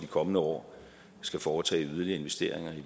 kommende år skal foretage yderligere investeringer